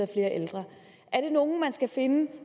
ældre er det nogle skal findes